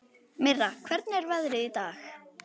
Mirra, hvernig er veðrið í dag?